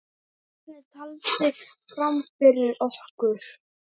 Bjarni taldi fram fyrir okkur.